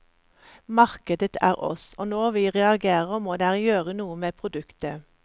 Markedet er oss, og når vi reagerer, må dere gjøre noe med produktet.